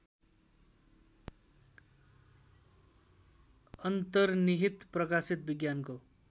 अन्तर्निहित प्रकाशित विज्ञानको